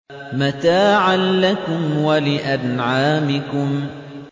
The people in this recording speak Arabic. مَّتَاعًا لَّكُمْ وَلِأَنْعَامِكُمْ